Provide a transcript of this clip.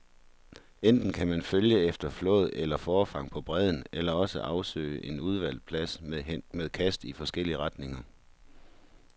Enten kan man følge efter flåd eller forfang på bredden, eller også afsøges en udvalgt plads med kast i forskellige retninger.